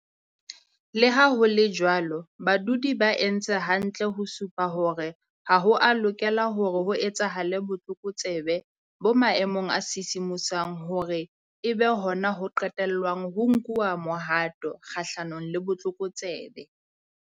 Leha ho le jwalo, badudi ba entse hantle ho supa hore ha ho a lokela hore ho etsahale botlokotsebe bo maemong a sisimosang hore e be hona ho qetellwang ho nkuwa mohato kgahlanong le botlokotsebe.